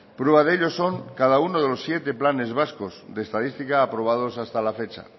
prueba de ello son cada uno de los siete planes de estadística aprobados hasta la fecha